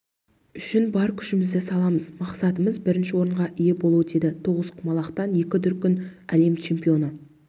үшін бар күшімізді саламыз мақсатымыз бірінші орынға ие болу деді тоғызқұмалақтан екі дүркін әлем чемпионы